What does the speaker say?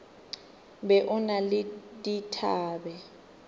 be o na le dithabe